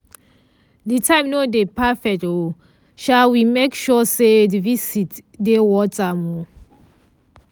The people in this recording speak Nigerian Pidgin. di time nor dey perfect um sha we make sure say di visit dey worth am. um